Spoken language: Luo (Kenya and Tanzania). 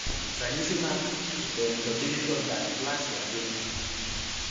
Ranyisi mag Oculodentodigital dysplasia gin mage?